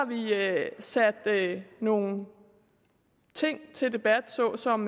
sat nogle ting til debat såsom